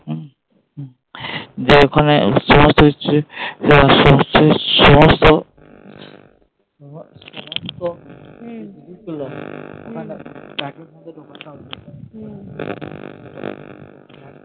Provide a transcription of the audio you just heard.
দিয়ে ওখানে